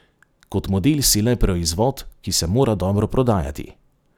Kot model si le proizvod, ki se mora dobro prodajati.